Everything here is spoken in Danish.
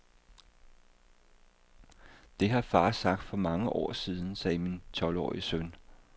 Det har far sagt for mange år siden, sagde min tolvårige søn.